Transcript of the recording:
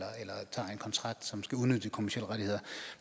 kontrakt som skal udnytte de kommercielle rettigheder